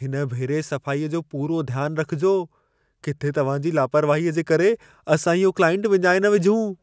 हिन भेरे सफ़ाईअ जो पूरो ध्यान रखिजो। किथे तव्हां जी लापरवाहीअ जे करे असां इहो क्लाइंट विञाए न विझूं।